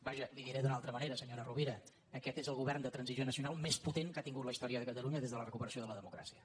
vaja li ho diré d’una altra manera senyora rovira aquest és el govern de transició nacional més potent que ha tingut la història de catalunya des de la recu·peració de la democràcia